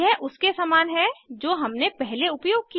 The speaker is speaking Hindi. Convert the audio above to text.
यह उसके समान है जो हमने पहले उपयोग किया